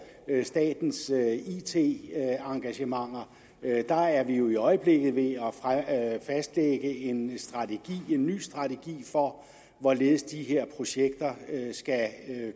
statens it engagementer er er vi jo i øjeblikket ved at fastlægge en ny strategi for hvorledes de her projekter skal